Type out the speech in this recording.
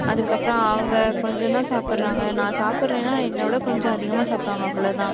அதுக்கப்புறம், அவங்க, கொஞ்சம்தான் சாப்பிடுறாங்க. நான் சாப்பிடறேன்னா என்னை விட கொஞ்சம் அதிகமா சாப்பிடுவாங்க, அவ்வளவுதான்